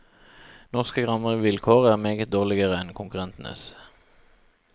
Norske rammevilkår er meget dårligere enn konkurrentenes.